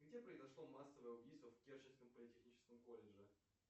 где произошло массовое убийство в керченском политехническом колледже